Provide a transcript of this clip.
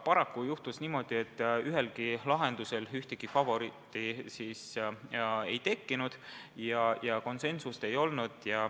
Paraku juhtus niimoodi, et üks lahendus favoriidiks ei kujunenud ja konsensust ei tekkinud.